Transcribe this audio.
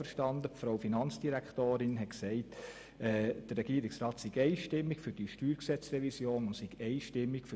Ich habe die Finanzdirektorin zuvor so verstanden, dass der Regierungsrat einstimmig für die StGRevision und das EP ist.